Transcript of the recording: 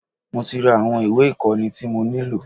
Mo tí ra àwọn ìwé ìkóni tí mo nílò.